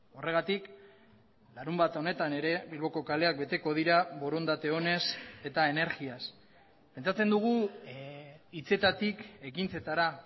horregatik larunbat honetan ere bilboko kaleak beteko dira borondate onez eta energiaz pentsatzen dugu hitzetatik ekintzetara